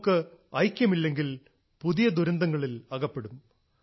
നമുക്ക് ഐക്യമില്ലെങ്കിൽ പുതിയ ദുരന്തങ്ങളിൽ അകപ്പെടും